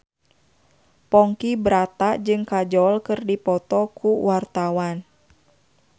Ponky Brata jeung Kajol keur dipoto ku wartawan